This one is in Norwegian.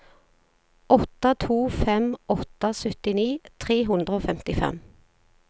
åtte to fem åtte syttini tre hundre og femtifem